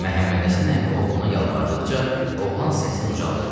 Məhəmmədhəsən əmi oğluna yalvardıqca, oğlan səsini ucaltdı.